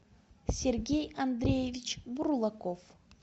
сергей андреевич бурлаков